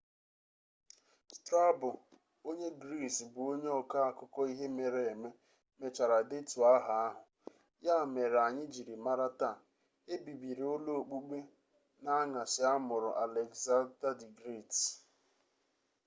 strabo onye gris bụ onye ọkọ akụkọ ihe mere eme mechara detuo aha ahụ ya mere anyi jiri mara taa ebibiri ụlọ okpukpe n'añasị amụrụ aleksada d gret